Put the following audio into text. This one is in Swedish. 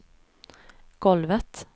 golvet